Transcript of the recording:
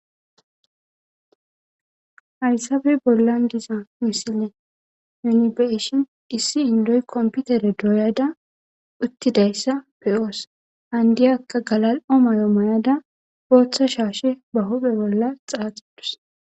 Hayisabe bollan diza misile yunibeshin issi indoy komputere dooyada uttidayssa peoos handiyakka galali'o mayo moyada booththa shaashe ba hophe bolla xaaxidus